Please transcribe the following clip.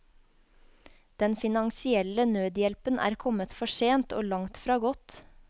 Den finansielle nødhjelpen er kommet for sent, og langtfra godt.